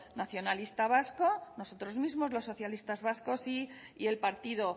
nacionalista vasco nosotros mismos los socialistas vascos y el partido